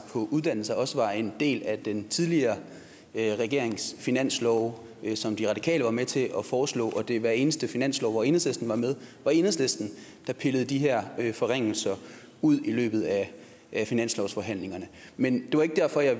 på uddannelser også var en del af den tidligere regerings finanslove som de radikale var med til at foreslå og at det i hver eneste finanslov hvor enhedslisten var med var enhedslisten der pillede de her forringelser ud i løbet af finanslovsforhandlingerne men det var ikke derfor jeg